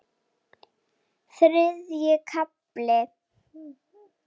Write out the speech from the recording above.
Þriðji kafli